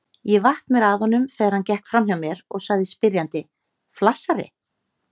Ég vatt mér að honum þegar hann gekk framhjá mér og sagði spyrjandi: Flassari?